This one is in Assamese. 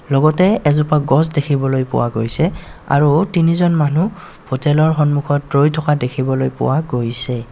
লগতে এজোপা গছ দেখিবলৈ পোৱা গৈছে আৰু তিনিজন মানুহ হোটেল ৰ সন্মুখত ৰৈ থকা দেখিবলৈ পোৱা গৈছে.